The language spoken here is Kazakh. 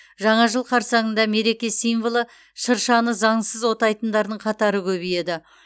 жаңа жыл қарсаңында мереке символы шыршаны заңсыз отайтындардың қатары көбейеді